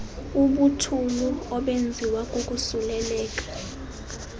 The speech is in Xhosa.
ubuthulu obenziwa kukosuleleka